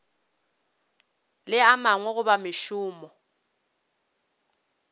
le a mangwe goba mošomo